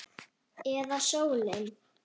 Eða sólin?